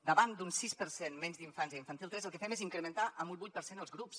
davant d’un sis per cent menys d’infants a infantil tres el que fem és incrementar en un vuit per cent els grups